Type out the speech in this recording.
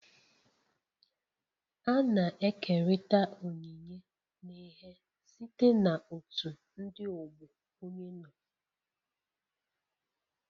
A na-ekerịta onyinye n'ihe site na otu ndị ọgbọ onye nọ.